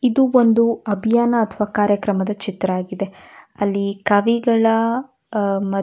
ಇದು ಒಂದು ಅಭಿಯಾನ ಅಥವಾ ಕಾರ್ಯಕ್ರಮದ ಚಿತ್ರವಾಗಿದೆ ಅಲ್ಲಿ ಕವಿಗಳ ಅಹ್ ಮತ್ --